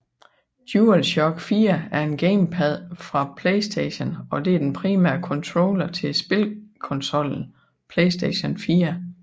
DualShock 4 er en gamepad fra playstation og det er den primære controller til spilkonsollen playstation 4